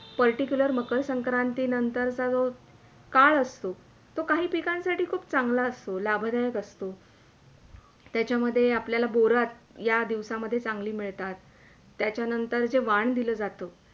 Particular मक्रसंक्रांती नंतरचा जो, काळ असतो तो काही पिकांसाठी खूप चांगला असतो, लाभदायक असतो, त्याच्यामध्ये आपल्याला बोरं या दिवसामध्ये चांगली मिळतात त्याच्यानंतर वाण दिल्या जातं.